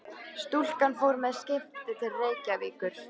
Stúlkan fór með skipi til Reykjavíkur.